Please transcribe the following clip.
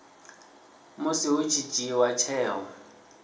musi hu tshi dzhiiwa tsheo